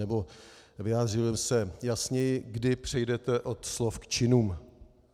Nebo vyjádřím se jasněji - kdy přejdete od slov k činům?